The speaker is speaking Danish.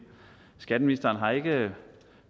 skatteministeren har ikke